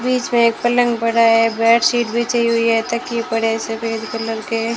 बीच में एक पलंग पड़ा है बेडशीट बिछी हुई है तकिए पड़े सफेद कलर के--